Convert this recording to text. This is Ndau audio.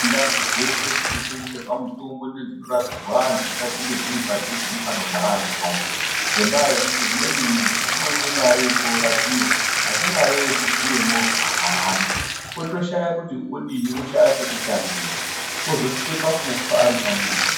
Ndau dzeshe dzinotengeserwa mutombo nedzinorapirwa antu ngadzinge dziri padhuze nepanogara antu acho ngendaa yekuti umweni muntu unoone mare yekoorapiwa asi mare yekukwire movha haana otoshaya kuti odiyi otoshaya pekutangira ozosvika pakufa aripamuzi.